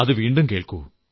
അത് വീണ്ടും കേൾക്കൂ